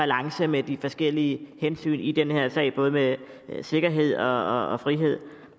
balance mellem de forskellige hensyn i den her sag mellem sikkerhed og frihed